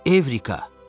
Evrika!